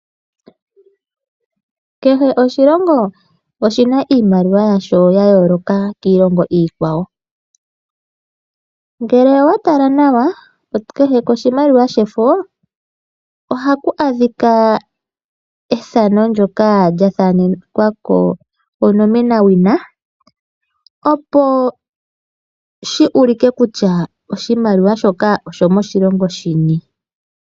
Kehe oshilongo oshina iimaliwa yasho ya yoloka kiilongo ikwawo, ngele owa tala nawa kehe koshimaliwa shefo ohaku adhika ethano ndyoka lyathanekwako onomenawina opo shi ulike kutya oshimaliwa shoka osho moshilongo shini.